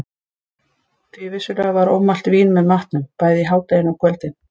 Því vissulega var ómælt vín með matnum, bæði í hádeginu og á kvöldin.